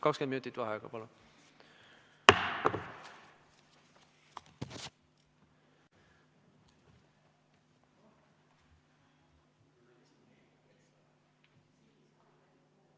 20 minutit vaheaega, palun!